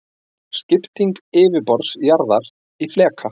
Skipting yfirborðs jarðar í fleka.